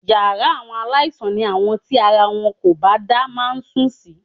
Yàrá àwọn aláìsàn ni àwọn tíara wọn kò bá dá máa ń sùn sí